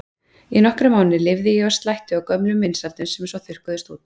Í nokkra mánuði lifði ég á slætti og gömlum vinsældum sem svo þurrkuðust út.